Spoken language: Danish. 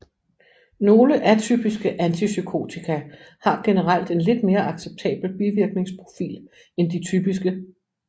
Nogle atypiske antipsykotika har generelt en lidt mere acceptabel bivirkningsprofil end de typiske